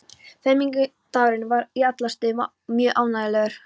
Fermingardagurinn var í alla staði mjög ánægjulegur.